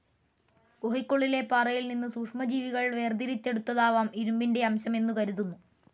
ഗുഹയ്ക്കുള്ളിലെ പാറയിൽനിന്നു സൂക്ഷ്മ ജീവികൾ വേർതിരിച്ചെടുത്തതാവാം ഇരുമ്പിന്റെ അംശം എന്നുകരുതുന്നു.